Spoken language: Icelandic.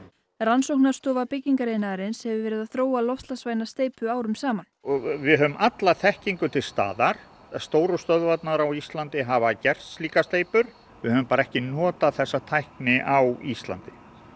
rannsóknarstofa byggingariðnaðarins hefur verið að þróa loftslagsvæna steypu árum saman við höfum alla þekkingu til staðar stóru stöðvarnar á Íslandi hafa gert slíka steypu við höfum bara ekki notað þessa tækni á Íslandi